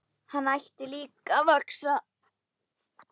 Hann hætti líka að vaxa.